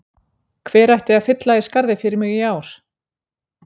Hver ætti að fylla í skarðið fyrir mig í ár?